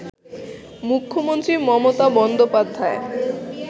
মুখ্যমন্ত্রী মমতা বন্দ্যোপাধ্যায়